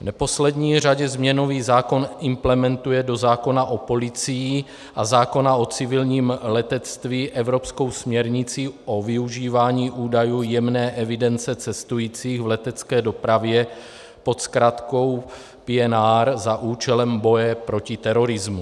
V neposlední řadě změnový zákon implementuje do zákona o policii a zákona o civilním letectví evropskou směrnici o využívání údajů jmenné evidence cestujících v letecké dopravě pod zkratkou PNR za účelem boje proti terorismu.